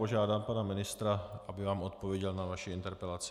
Požádám pana ministra, aby vám odpověděl na vaši interpelaci.